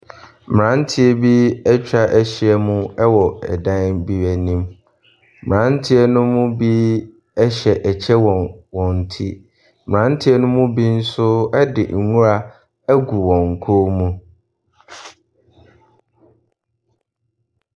Mmaranteɛ bi atwahyia mu ɛwɔ ɛdan bi anim. Mmaranteɛ no mu bi ɛhyɛ ɛkyɛ wɔ wɔn ti. Mmaranteɛ no mu bi nso ɛde nwura ɛgu wɔn kɔn mu.